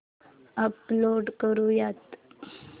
upload करुयात